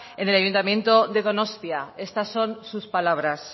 en el ayuntamiento de donostia estas son sus palabras